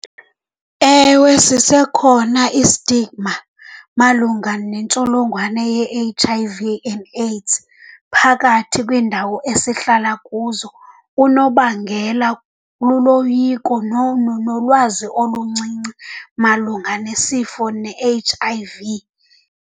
Ewe, sisekhona i-stigma malunga nentsholongwane ye-H_I_V and AIDS phakathi kwiindawo esihlala kuzo. Unobangela luloyiko nolwazi oluncinci malunga nesifo ne-H_I_V.